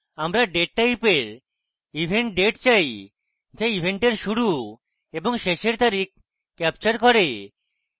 আমরা date টাইপের event date চাই যা event শুরু এবং শেষের তারিখ captures করে